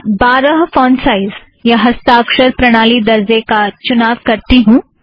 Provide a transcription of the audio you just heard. मैं बारह font size या हस्ताक्षर प्रणाली दरजे का चुनाव करती हूँ